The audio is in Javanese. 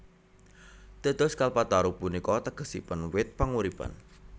Dados Kalpataru punika tegesipun wit panguripan